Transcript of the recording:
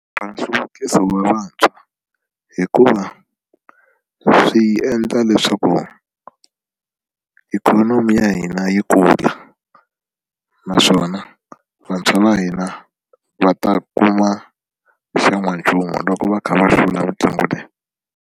Va nhluvukiso wa vantshwa hikuva swi endla leswaku ikhonomi ya hina yi kula naswona vantshwa va hina va ta kuma xan'wanchumu loko va kha va hlula mitlangu leyi.